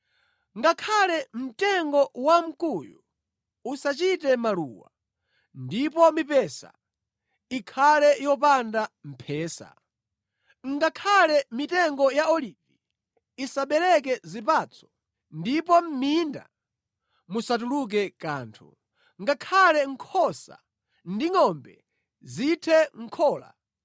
Ngakhale mtengo wa mkuyu usachite maluwa, ndipo mipesa ikhale yopanda mphesa. Ngakhale mitengo ya olivi isabereke zipatso, ndipo mʼminda musatuluke kanthu. Ngakhale nkhosa ndi ngʼombe zithe mʼkhola,